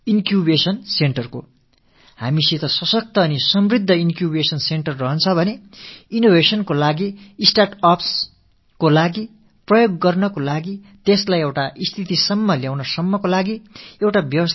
நம்மிடம் சக்திவாய்ந்த நிறைவான ஆக்க மையம் இன்க்யூபேஷன் சென்டர் இருந்தால் புதுமைகள் படைக்கவும் ஸ்டார்ட் upsக்காக பரிசோதனைகளை நிகழ்த்திப் பார்க்கவும் அவற்றை ஒருநிலைப்படுத்தவும் தேவையானதொரு அமைப்பு நமக்கு கிடைக்கிறது